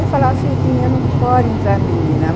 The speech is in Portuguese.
Ele falava, filhinha, não pode entrar menina.